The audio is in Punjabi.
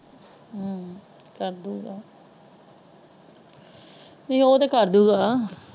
ਹਮ ਕਰ ਦਊਗਾ ਨਹੀਂ ਉਹ ਤੇ ਕਰ ਦਊਂਗਾ।